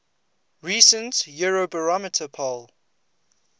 recent eurobarometer poll